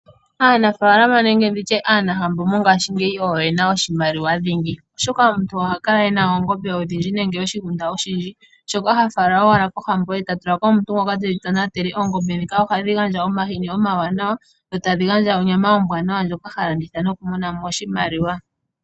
Aanafalama nenge ndi tye aanahambo mongaashingeyi oyo yena oshimaliwa dhingi, oshoka omuntu oha kala ena oongombe odhindji nenge oshigunda oshi dji, shoka ha fala owala kohambo, eta tulako omuntu ngoka tedhi tonatele. Oongombe dhika ohadhi gandja omahini omawanawa no tadhii gandja onyama ombwaanawa ndjoka ha landitha no ku monamo oshimaliwa.